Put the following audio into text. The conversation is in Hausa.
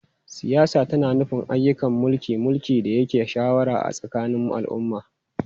Siyasa tana nufin ayyukan mulki, mulki, da yanke shawara a tsakanin al'umma.